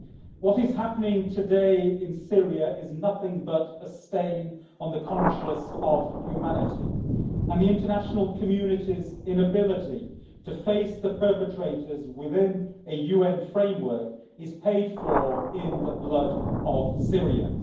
What is happening today in Syria is nothing but a stain on the conscience of humanity, and the international community's inability to face the perpetrators within a UN framework is paid for in the blood of Syrians.